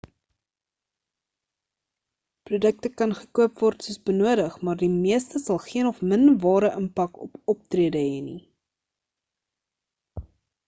produkte kan gekoop word soos benodig maar die meeste sal geen of min ware impak op optrede hê nie